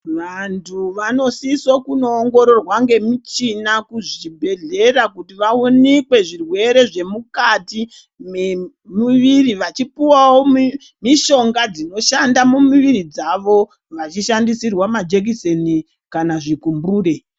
Vanthu vanosise kunoongororwa ngemushina kuzvibhedhlera kuti vaonekwe zvirwere zvemukati memuviri vachipuwawo mishonga dzinoshanda mumiviri dzavo vachishandisirwe majekiseni kana zvigumbure.